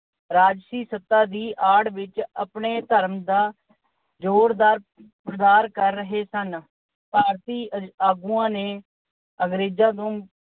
ਰਾਜਸੀ ਸੱਤਾ ਦੀ ਆਡ ਵਿੱਚ ਆਪਣੇ ਧਰਮ ਦਾ ਜੋਰਦਾਰ ਪ੍ਰਸਾਰ ਕਰ ਰਹੇ ਸਨ। ਭਾਰਤੀ ਆਗੂਆਂ ਨੇ ਅੰਗਰੇਜਾਂ ਨੂੰ